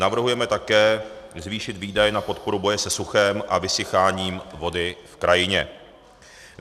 Navrhujeme také zvýšit výdaje na podporu boje se suchem a vysycháním vody v krajině.